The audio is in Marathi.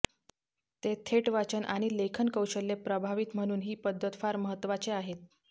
ते थेट वाचन आणि लेखन कौशल्य प्रभावित म्हणून ही पद्धत फार महत्वाचे आहे